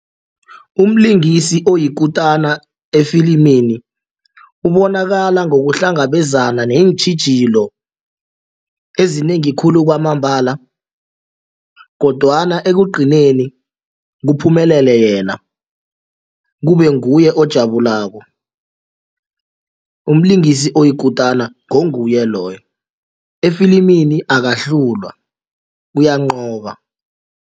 Umlingisi oyikutana efilimini ubonakala ngokuhlangabezana neentjhijilo ezinengi khulu kwamambala kodwana ekugcineni kuphumelele yena kube nguye ojabulako, umlingisi oyikutana ngonguye loyo efilimini akahlulwa uyanqoba.